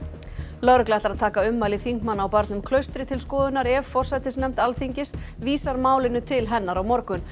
lögregla ætlar að taka ummæli þingmanna á barnum Klaustri til skoðunar ef forsætisnefnd Alþingis vísar málinu til hennar á morgun